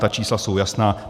Ta čísla jsou jasná.